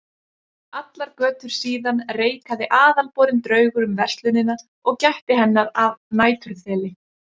Allar götur síðan reikaði aðalborinn draugur um verslunina og gætti hennar að næturþeli.